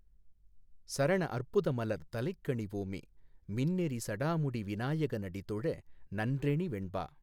சரணஅற் புதமலர் தலைக்கணி வோமே மின்னெறி சடாமுடி விநாயக னடிதொழ நன்றெனி வெண்பா.